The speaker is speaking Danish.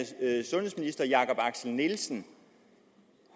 sundhedsminister jakob axel nielsen